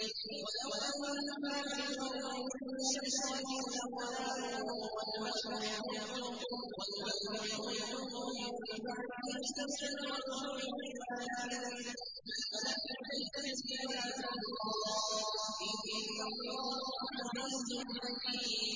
وَلَوْ أَنَّمَا فِي الْأَرْضِ مِن شَجَرَةٍ أَقْلَامٌ وَالْبَحْرُ يَمُدُّهُ مِن بَعْدِهِ سَبْعَةُ أَبْحُرٍ مَّا نَفِدَتْ كَلِمَاتُ اللَّهِ ۗ إِنَّ اللَّهَ عَزِيزٌ حَكِيمٌ